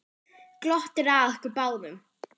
Glottir að okkur báðum.